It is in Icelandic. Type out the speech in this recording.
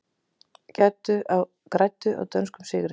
Græddu á dönskum sigri